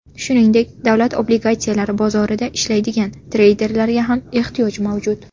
Shuningdek, davlat obligatsiyalari bozorida ishlaydigan treyderlarga ham ehtiyoj mavjud.